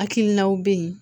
Hakilinaw bɛ ye